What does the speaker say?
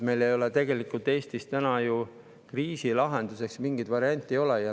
Meil ei ole tegelikult Eestis täna kriisi lahenduseks mingeid variante.